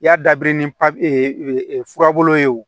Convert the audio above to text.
I y'a dabiri ni papiye fura bolo ye wo